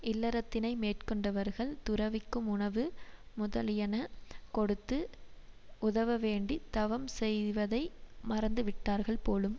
இல்லறத்தினை மேற்கொண்டவர்கள் துறவிக்கும் உணவு முதலியன கொடுத்து உதவவேண்டித் தவம் செய்வதை மறந்துவிட்டார்கள் போலும்